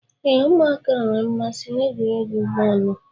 Ee, ụmụaka nwere mmasị n'egwuregwu bọọlu.